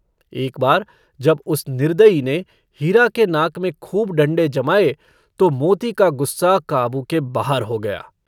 एक बार जब उस निर्दयी ने हीरा के नाक में खूब डंडे जमाए, तो मोती का गुस्सा काबू के बाहर हो गया।